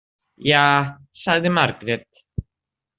Ja, sagði Margrét.